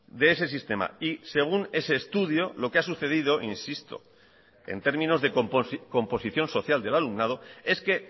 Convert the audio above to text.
de ese sistema y según ese estudio lo que ha sucedido insisto en términos de composición social del alumnado es que